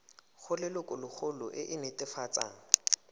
go lelokolegolo e e netefatsang